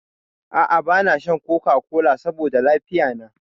A'a bana shan coca-cola saboda lafiya na.